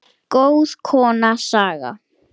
Góð kona, Saga.